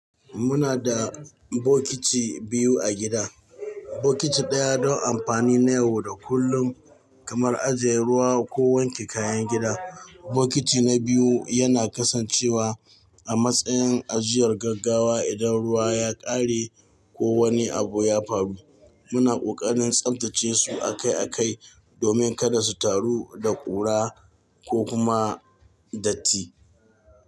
Muna da bokiti biyu a gida. Bokiti ɗaya don amfani na yau da kullum kamar ajiye ruwa ko wanke kayan gida. Bokiti na biyu yana kasancewa a matsayin ajiyar gaggawa idan ruwa ya ƙare ko wani abu ya faru. Muna ƙoƙarin tsabtace su akai akai domin kada su taru da ƙura ko kuma datti.